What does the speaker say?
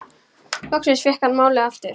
Loksins fékk hann málið aftur.